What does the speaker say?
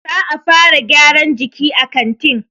Za'a fara gyaran jiki a kantin.